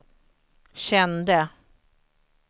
kände